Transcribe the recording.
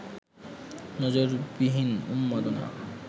নজিরবিহীন উন্মাদনা